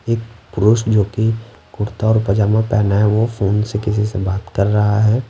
एक पुरुष जो कि कुर्ता और पजामा पहना है वो फोन से किसी से बात कर रहा है।